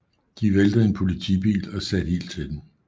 De væltede en politibil og satte ild til den